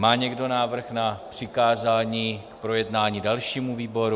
Má někdo návrh na přikázání k projednání dalšímu výboru?